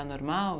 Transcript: Era normal?